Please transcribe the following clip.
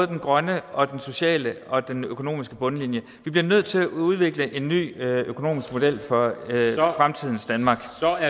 den grønne og den sociale og den økonomiske bundlinje vi bliver nødt til at udvikle en ny økonomisk model for fremtidens danmark